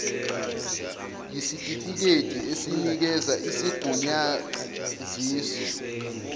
yisitifikedi esinikeza isigunyaziso